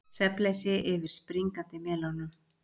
Svefnleysi yfir springandi melónum